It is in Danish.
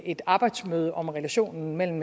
et arbejdsmøde om relationen mellem